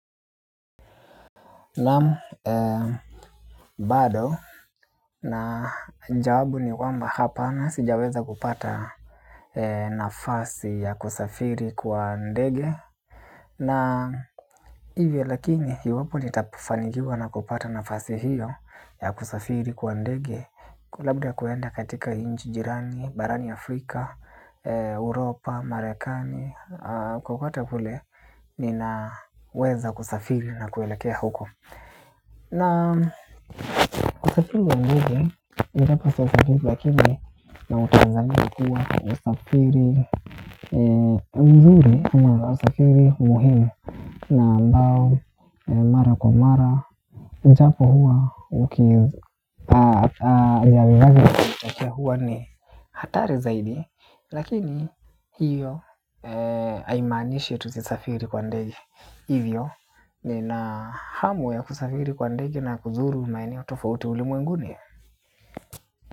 Naam bado na jawabu ni kwamba hapana sijaweza kupata nafasi ya kusafiri kwa ndege. Na hivyo lakini iwapo nitafanikiwa na kupata nafasi hiyo ya kusafiri kwa ndege labda kuenda katika nchi jirani, barani Afrika, uropa, Marekani Kokote kule ninaweza kusafiri na kuelekea huko. Na kusafiri wa ndege, ijapo sijasafiri lakini na utazamia kuwa ni usafiri, mzuri huwa usafiri, muhimu na ambao, mara kwa mara ijapo huwa, huwa ni hatari zaidi, lakini hiyo haimanishi tusisafiri kwa ndege. Hivyo, nina hamu ya kusafiri kwa ndege na kuzuru maeneo tofauti ulimwenguni.